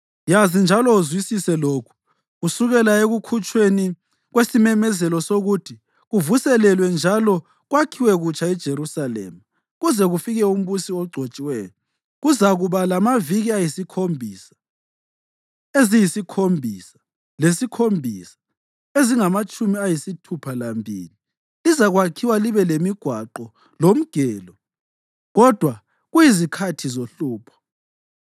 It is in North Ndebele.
Yazi njalo uzwisise lokhu: Kusukela ekukhutshweni kwesimemezelo sokuthi kuvuselelwe njalo kwakhiwe kutsha iJerusalema kuze kufike umbusi oGcotshiweyo kuzakuba lamaviki ‘ayizikhombisa’ eziyisikhombisa ‘lezikhombisa’ ezingamatshumi ayisithupha lambili. Lizakwakhiwa libe lemigwaqo lomgelo, kodwa kuyizikhathi zohlupho.